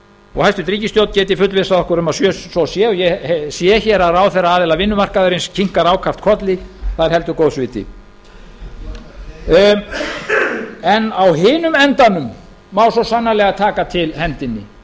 og hæstvirt ríkisstjórn geti fullvissað okkur um að svo sé og ég sé hér að herra aðila vinnumarkaðarins kinkar ákaft kolli það er heldur góðs viti á hinum endanum má svo sannarlega taka til hendinni